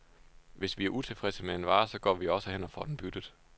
Hvis vi er utilfredse med en vare, så går vi jo også hen og får den byttet.